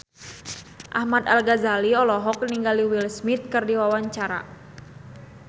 Ahmad Al-Ghazali olohok ningali Will Smith keur diwawancara